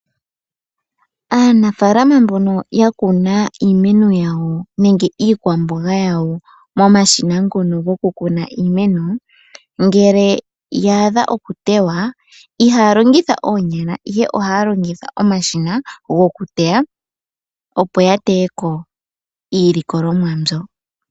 Aanafaalama mbono ya kuna iimeno yawo nenge iikwamboga yawo momashina ngono goku kuna iimeno, ngele ya adha okutewa, ihaya longitha oonyala ihe ohaya longitha omashina gokuteya opo ya teye ko iilikolomwa mbyo.